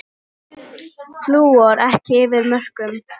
Flúor ekki yfir mörkum